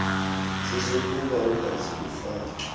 sesokuba ungaze ufake